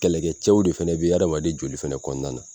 Kɛlɛkɛcɛw de fɛnɛ bɛ adamaden joli fɛnɛ kɔnɔna na.